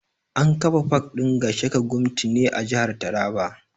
An kafa pak ɗin Gashaka Gumti ne a jihar taraba